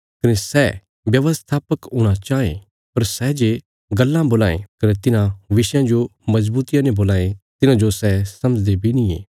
कने सै व्यवस्थापक हूणा चांह ये पर सै जे गल्लां बोलां ये कने तिन्हां विषयां जो मजबूतिया ने बोलां ये तिन्हांजो सै समझदे बी नींये